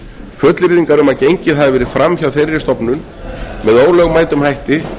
fullyrðingar um að gengið hafi verið fram hjá þeirri stofnun með ólögmætum hætti